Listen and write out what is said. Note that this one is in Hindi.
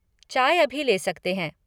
चाय अभी ले सकते हैं।